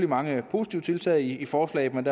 mange positive tiltag i forslaget